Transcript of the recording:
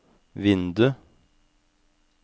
vindu